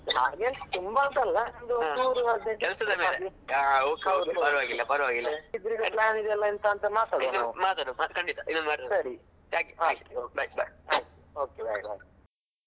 Bye bye.